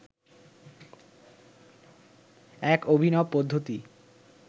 এক অভিনব পদ্ধতি